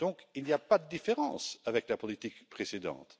Il n'y a pas de différence avec la politique précédente.